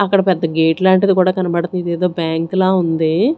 అక్కడ పెద్ద గేట్ లాంటిది కూడా కనబడుతు-- ఇదేదో బ్యాంక్ లా ఉంది.